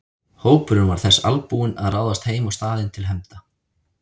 Hópurinn var þess albúinn að ráðast heim á staðinn til hefnda.